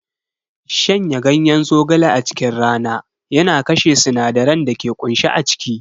Shanya ganyen zogale a cikin rana yana kashe sinadaran da ke kunshe a ciki.